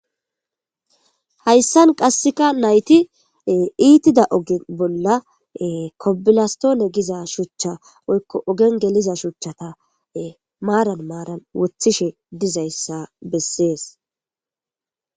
hayssan qasseka nayti iitida oge bolla kobilastoone giza shuchcha oykko ogen geliza shuchchata maaran maaran wothishe dizayssa bessees